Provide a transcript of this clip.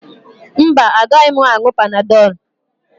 Mba, agaghị m aṅụ Panadọlụ.